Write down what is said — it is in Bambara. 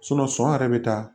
sɔn yɛrɛ bɛ taa